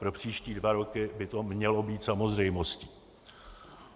Pro příští dva roky by to mělo být samozřejmostí.